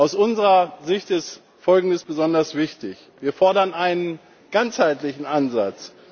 Aus unserer Sicht ist Folgendes besonders wichtig Wir fordern einen ganzheitlichen Ansatz.